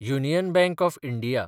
union Bank of India